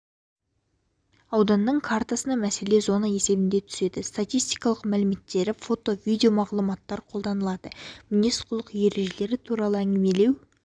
ауданның картасына мәселе зона есебінде түседі статистикалық мәліметтері фото видеомағлұматтар қолданылады мінез-құлық ережелері туралы әңгімелеу